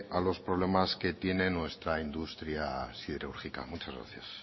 a los problemas que tiene nuestra industria siderúrgica muchas gracias